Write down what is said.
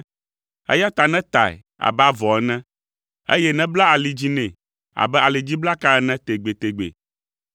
eya ta netae abe avɔ ene, eye nebla ali dzi nɛ abe alidziblaka ene tegbetegbe.